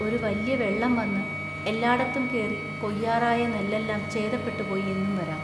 ഒരു വല്യ വെള്ളം വന്നു എല്ലാടത്തും കേറി കൊയ്യാറായ നെല്ലെല്ലാം ചേതപ്പെട്ടു പോയി എന്നും വരാം.